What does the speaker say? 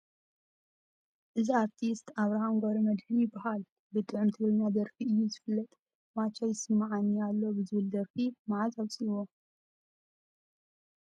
እዚ ኣርቲስት ኣብረሃም ገብረመድህን ይበሃል ፡ ብጡዑም ትግርኛ ደርፊ እዩ ዝፍለጥ ፣ ማቻ ይስመዓኒ ኣሎ ዝብል ደርፊ መዓዝ ኣውፂኡዎ ?